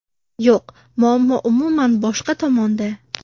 Yo‘q, muammo umuman boshqa tomonda.